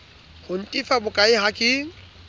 ho ntefa bokae ha ke